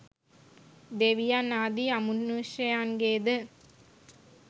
දෙවියන් ආදී අමනුෂ්‍යයන්ගේ ද